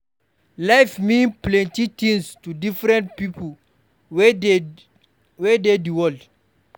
Life mean plenty things to different pipo wey dey di world